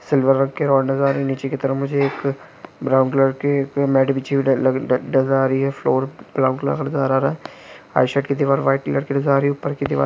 silver रंग के road नजर आ रही है नीचे की तरफ मुझे एक ब्राउन कलर की मेट बिछी हुई आ रहा है फ्लोर व्हाइट कलर की नजर आ रही है ऊपर की दीवार--